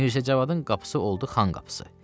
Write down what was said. Mirzə Cavadın qapısı oldu Xan qapısı.